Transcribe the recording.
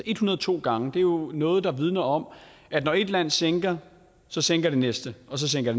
en hundrede og to gange det er jo noget der vidner om at når ét land sænker så sænker det næste og så sænker